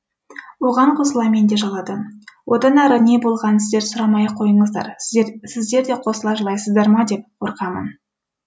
оған қосыла мен де жыладым одан әрі не болғанын сіздер сұрамай ақ қойыңыздар сіздер де қосыла жылайсыздар ма деп қорқамын